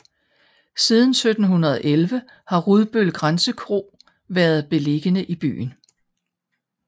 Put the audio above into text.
Siden 1711 har Rudbøl Grænsekro været beliggende i byen